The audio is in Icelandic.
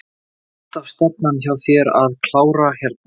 Var alltaf stefnan hjá þér að klára hérna?